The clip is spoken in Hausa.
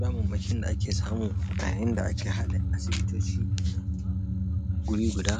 Damammakin da ake samu yayin da ake haɗa asibitoci guri guda,